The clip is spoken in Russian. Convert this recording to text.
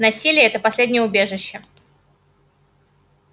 насилие это последнее убежище